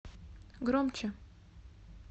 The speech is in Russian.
громче